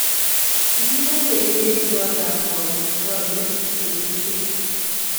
kimetee iwendi kootab kamuktaindet betusiechu